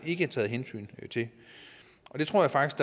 ikke er taget hensyn til det tror jeg faktisk